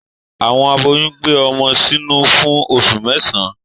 Awọn aboyún gbé ọmọ sínú fún oṣu mẹsan